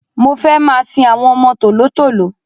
Mo fẹ́ máa sin àwọn ọmọ tòló-tòló.